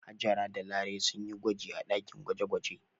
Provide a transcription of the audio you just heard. Hajara da Larai sun yi gwaji a ɗakin gwaje-gwaje.